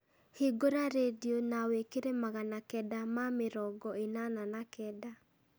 hingũra rĩndiũ na wĩkĩre magana kenda ma mĩrongo ĩnana na kenda